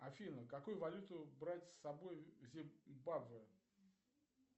афина какую валюту брать с собой в зимбабве